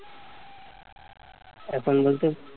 এখন বলতে